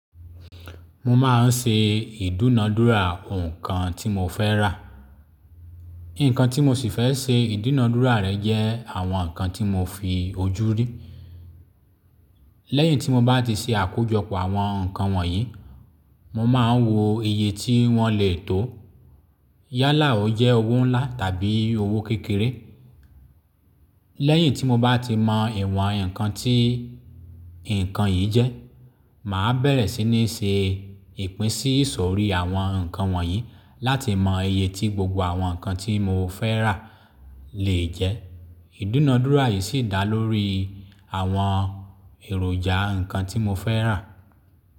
Mo máa ń ṣe ìdúnadúrà nǹkan tí mo fẹ́ rà. Ǹkan tí mo sì fẹ́ ṣe ìdúnadúrà rẹ̀ jẹ́ àwọn nǹkan tí mo fi ojú rí. Lẹ́yìn tí mo bá ti ṣe àkójọpọ̀ àwọn nǹkan wọ̀nyí, mo máa ń wo iye tí wọ́n lè tó yálà ó jẹ́ owó ńlá tàbí owó kékeré. Lẹ́yìn tí mo bá ti mọ ìwọ̀n ǹkan tí ǹkan yìí jẹ́, màá bẹ̀rẹ̀ sí ní ṣe ìpín sí ìsòrí àwọn nǹkan wọ̀nyí láti mọ iye tí gbogbo àwọn nǹkan tí mo fẹ́ rà lè jẹ́. Ìdúnadúrà yìí sì dá lórí àwọn èròjà nǹkan tí mo fẹ́ rà.